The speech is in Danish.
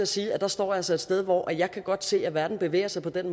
sige at jeg står altså et sted hvor jeg godt kan se at verden bevæger sig sådan